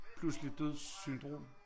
Pludselig dødssyndrom